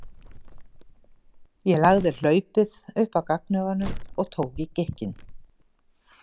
Ég lagði hlaupið upp að gagnauganu og tók í gikkinn.